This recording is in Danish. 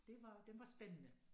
Det var den var spændende